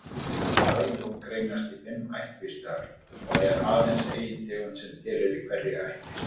Sæljón greinast í fimm ættkvíslir og er aðeins ein tegund sem tilheyrir hverri ættkvísl.